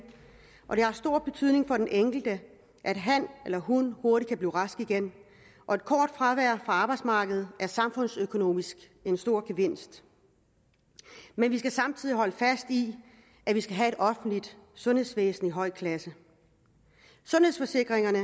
og det har stor betydning for den enkelte at han eller hun hurtigt kan blive rask igen og et kort fravær fra arbejdsmarkedet er samfundsøkonomisk en stor gevinst men vi skal samtidig holde fast i at vi skal have et offentligt sundhedsvæsen af høj klasse sundhedsforsikringerne